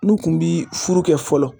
N'u kun bi furu kɛ fɔlɔ